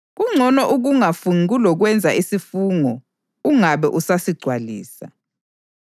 Kungcono ukungafungi kulokwenza isifungo ungabe usasigcwalisa.